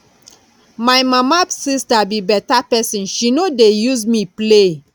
my mama sister be better person she no dey use me play